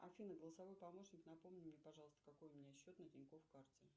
афина голосовой помощник напомни мне пожалуйста какой у меня счет на тинькофф карте